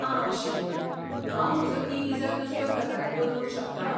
आं अशें, हांव म्हजो ई विजा दुसऱ्या प्रकारांत बदलूंक शकतां?